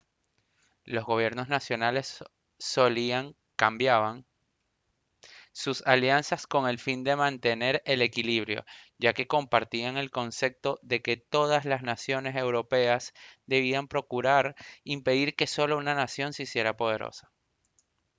los gobiernos nacionales solían cambiaban sus alianzas con el fin de mantener el equilibrio ya que compartían el concepto de que todas las naciones europeas debían procurar impedir que solo una nación se hiciera poderosa